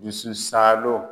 Dusu saalon.